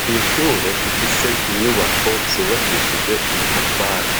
Kw'ishure rifise inyubako zubakishije amatafari